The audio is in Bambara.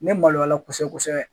N bɛ maloya a la kosɛbɛ kosɛbɛ